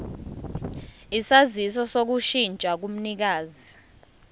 isaziso sokushintsha komnikazi